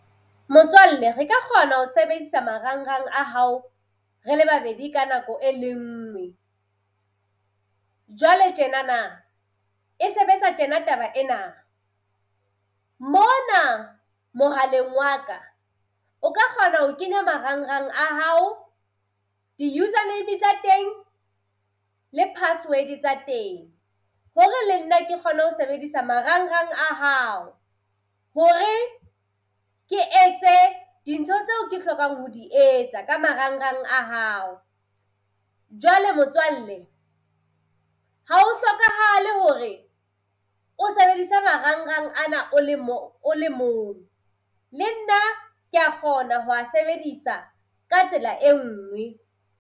Motswalle re ka kgona ho sebedisa marangrang a hao re le babedi ka nako e le ngwe. Jwale tjenana e sebetsa tjena taba ena. Mona mohaleng wa ka o ka kgona ho kenya marangrang a hao, di-user name tsa teng le password tsa teng, hore le nna ke kgone ho sebedisa marangrang a hao. Hore ke etse dintho tseo ke hlokang ho di etsa ka marangrang a hao. Jwale motswalle ha ho hlokahale hore o sebedisa marangrang ana o le o le mong. Le nna kea kgona ho a sebedisa ka tsela e nngwe.